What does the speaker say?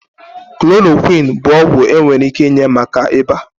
Klorokwini bụ ọgwụ enwere ike inye maka ịba.